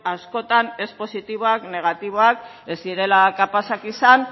askotan ez positiboak negatiboak ez direla kapazak izan